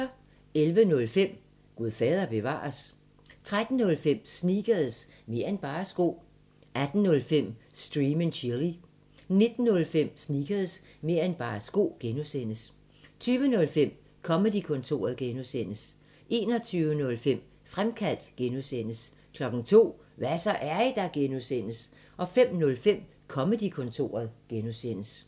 11:05: Gud fader bevares? 13:05: Sneakers – mer' end bare sko 18:05: Stream & Chill 19:05: Sneakers – mer' end bare sko (G) 20:05: Comedy-kontoret (G) 21:05: Fremkaldt (G) 02:00: Hva' så, er I der? (G) 05:05: Comedy-kontoret (G)